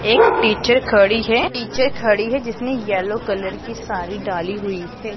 एक टीचर खड़ी है एक टीचर खड़ी है जिसने येलो कलर की साड़ी डाली हुई है।